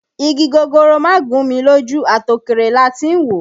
Igi gogoro má gún mi lójú, àti òkèèrè láti ń wò ó